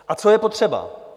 A co je potřeba?